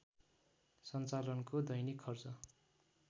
सञ्चालनको दैनिक खर्च